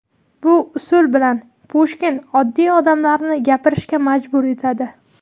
Bu usul bilan Pushkin oddiy odamlarni gapirishga majbur etadi.